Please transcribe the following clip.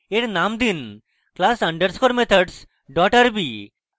এর name দিন class _ methods rb